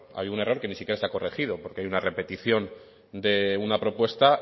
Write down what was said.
hay un error que ni siquiera se ha corregido porque hay una repetición de una propuesta